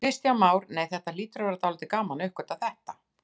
Kristján Már: Nei, þetta hlýtur að vera dálítið gaman að uppgötva þetta?